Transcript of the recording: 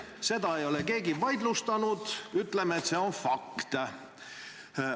Seda ei ole keegi vaidlustanud, seega ütleme, et see on fakt.